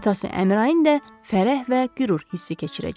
Atası Əmirin də fərəh və qürur hissi keçirəcək.